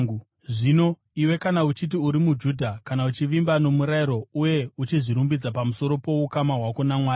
Zvino iwe, kana uchiti uri muJudha; kana uchivimba nomurayiro uye uchizvirumbidza pamusoro poukama hwako naMwari;